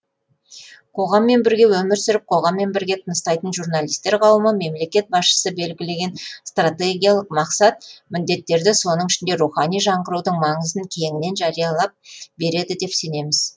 қоғаммен бірге өмір сүріп қоғаммен бірге тыныстайтын журналистер қауымы мемлекет басшысы белгілеген стратегиялық мақсат міндеттерді соның ішінде рухани жаңғырудың маңызын кеңінен жариялап береді деп сенеміз